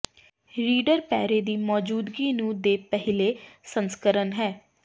reader ਪੈਰੇ ਦੀ ਮੌਜੂਦਗੀ ਨੂੰ ਦੇ ਪਹਿਲੇ ਸੰਸਕਰਣ ਹੈ